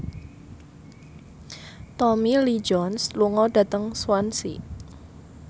Tommy Lee Jones lunga dhateng Swansea